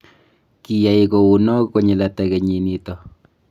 kiyai kou noe konyil ata kenyit nito?